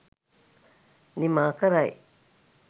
නිමා කරයි.